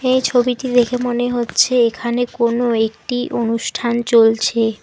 এই ছবিটি দেখে মনে হচ্ছে এখানে কোনো একটি অনুষ্ঠান চলছে।